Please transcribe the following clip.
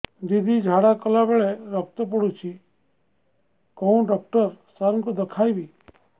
ଦିଦି ଝାଡ଼ା କଲା ବେଳେ ରକ୍ତ ପଡୁଛି କଉଁ ଡକ୍ଟର ସାର କୁ ଦଖାଇବି